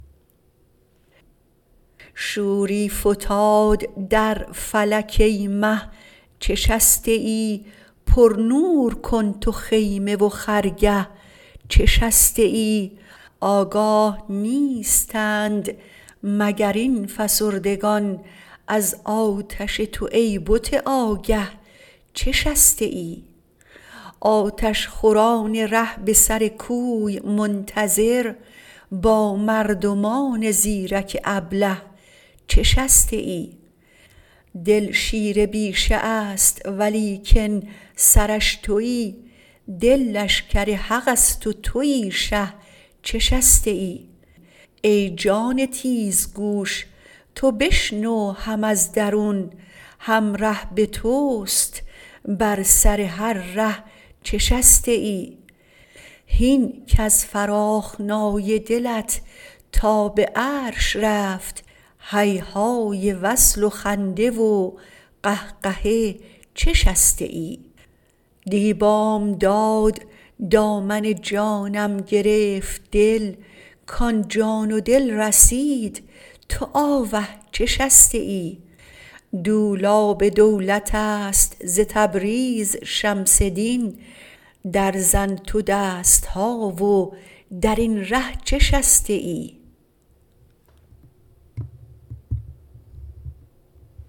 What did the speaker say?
شوری فتاد در فلک ای مه چه شسته ای پرنور کن تو خیمه و خرگه چه شسته ای آگاه نیستند مگر این فسردگان از آتش تو ای بت آگه چه شسته ای آتش خوران ره به سر کوی منتظر با مردمان زیرک ابله چه شسته ای دل شیر بیشه ست ولیکن سرش توی دل لشکر حقست و توی شه چه شسته ای ای جان تیزگوش تو بشنو هم از درون هم ره به توست بر سر هر ره چه شسته ای هین کز فراخنای دلت تا به عرش رفت هیهای وصل و خنده و قهقه چه شسته ای دی بامداد دامن جانم گرفت دل کان جان و دل رسید تو آوه چه شسته ای دولاب دولتست ز تبریز شمس دین درزن تو دست ها و در این ره چه شسته ای